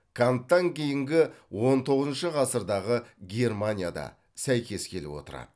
канттан кейінгі он тоғызыншы ғасырдағы германияда сәйкес келіп отырады